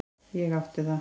Ég átti það.